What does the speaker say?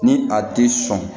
Ni a tɛ sɔn